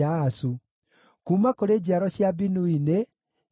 Kuuma kũrĩ njiaro cia Binui nĩ: Shimei,